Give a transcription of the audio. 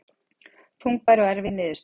Þungbær og erfið niðurstaða